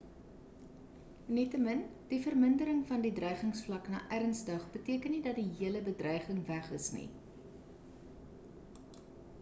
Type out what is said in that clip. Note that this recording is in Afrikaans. nietemin die vermindering van die dreigingsvlak na ernstig beteken nie dat die hele bedreiging weg is nie